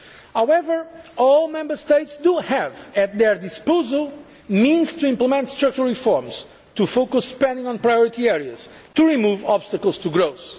use it. However, all Member States have at their disposal the means to implement structural reforms, to focus spending on priority areas and to remove obstacles to